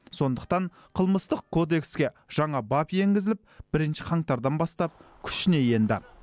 сондықтан қылмыстық кодекске жаңа бап енгізіліп бірінші қаңтардан бастап күшіне енді